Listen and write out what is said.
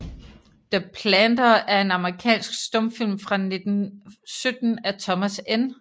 The Planter er en amerikansk stumfilm fra 1917 af Thomas N